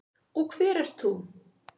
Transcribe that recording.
Og hver ert þú?